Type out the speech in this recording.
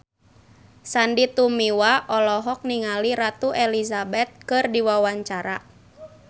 Sandy Tumiwa olohok ningali Ratu Elizabeth keur diwawancara